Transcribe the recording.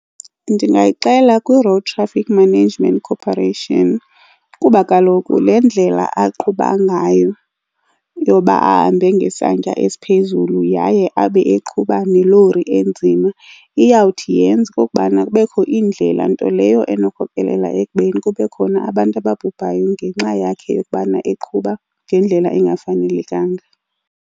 Ndingayixela kwi-Road Traffic Management Corporation kuba kaloku le ndlela aqhuba ngayo yoba ahambe ngesantya esiphezulu yaye abe eqhuba nelori enzima iyawuthi yenze okukubana kubekho iindlela nto leyo ekhokelela ekubeni kube khona abantu ababhubayo ngenxa yakhe yokubana eqhuba ngendlela engafanelekanga.